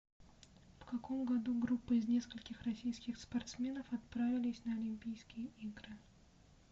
в каком году группа из нескольких российских спортсменов отправились на олимпийские игры